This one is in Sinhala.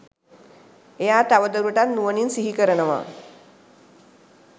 එයා තවදුරටත් නුවණින් සිහිකරනවා